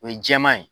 O ye jɛman ye